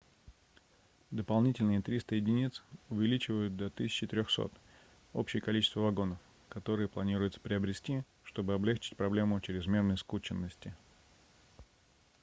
дополнительные 300 единиц увеличивают до 1300 общее количество вагонов которые планируется приобрести чтобы облегчить проблему чрезмерной скученности